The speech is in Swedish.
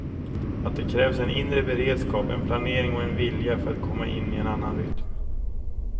Att det krävs en inre beredskap, en planering och en vilja för att komma in i en annan rytm.